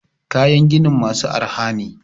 kayan ginin masu arha ne?